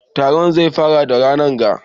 Taron zai fara da ranan ga